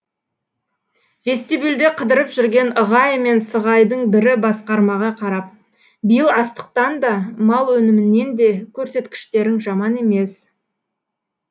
вестибюльде қыдырып жүрген ығай мен сығайдың бірі басқармаға қарап биыл астықтан да мал өнімінен де көрсеткіштерің жаман емес